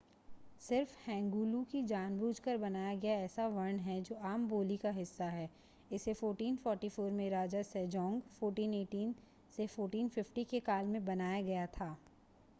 सिर्फ़ हैंगुल ही जानबूझ कर बनाया गया ऐसा वर्ण है जो आम बोली का हिस्सा है. इसे 1444 में राजा सेजौंग 1418 - 1450 के काल में बनाया गया था